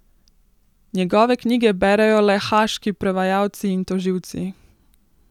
Njegove knjige berejo le haaški prevajalci in tožilci.